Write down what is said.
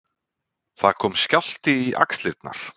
Það kom skjálfti í axlirnar.